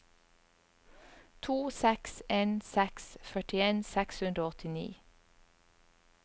to seks en seks førtien seks hundre og åttini